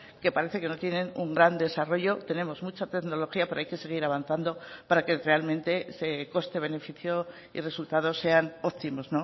que parece que no tienen un gran desarrollo tenemos mucha tecnología pero hay que seguir avanzando para que realmente ese coste beneficio y resultados sean óptimos